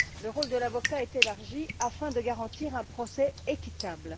Le rôle de l'avocat est élargi afin de garantir un procès équitable.